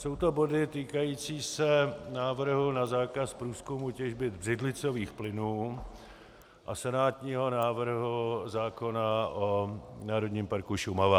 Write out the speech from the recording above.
Jsou to body týkající se návrhu na zákaz průzkumu těžby břidlicových plynů a senátního návrhu zákona o Národním parku Šumava.